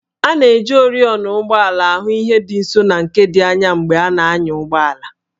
A na-eji oriọna ụgbọala ahụ ihe dị nso na nke dị anya mgbe a na-anya ụgbọala